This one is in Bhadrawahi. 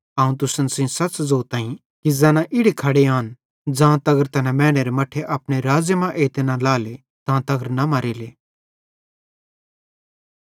अवं तुसन सेइं सच़ ज़ोतईं कि ज़ैना इड़ी खड़े आन ज़ां तगर मैनेरे मट्ठे अपने राज़्ज़े मां एइते न लाएले तां तगर न मरेले